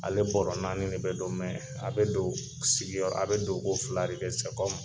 Ale bɔra naani de be don mɛ a be don sigiyɔrɔ a be don ko filare kɛ sɛ kɔmi